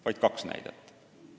Vaid kaks näidet.